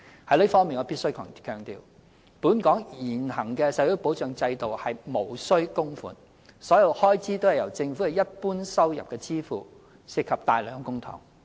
就此，我必須強調，本港現行的社會保障制度無須供款，所有開支均由政府的一般收入支付，涉及大量公帑。